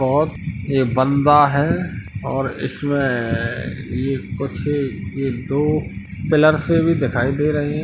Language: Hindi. और ये बंदा है और इसमें ये ये कुर्सी ये दो पिलर से भी दिखाई दे रहे हैं।